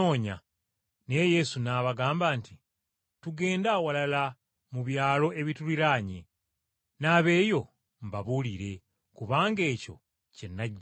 Naye Yesu n’abagamba nti, “Tugende awalala mu byalo ebituliraanye, n’abeeyo mbabuulire, kubanga ekyo kye najjirira.”